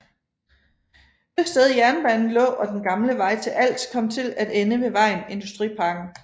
Det sted jernbanen lå og den gamle vej til Als kom til at ende ved vejen Industriparken